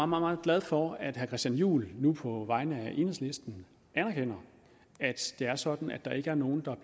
meget glad for at herre christian juhl nu på vegne af enhedslisten anerkender at det er sådan at der ikke er nogen der